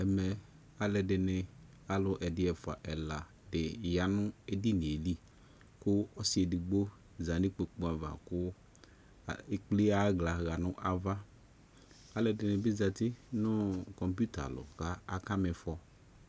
Ɛmɛ alɛde ne, alu ɛdi, ɛfua ɛla de edinie li ko ɔse edigbo za no ikpokpu ava ko ekple aya hla ya no avaAlɛde ne be zati noo Kɔmpiuta lɔ ka aka mifɔ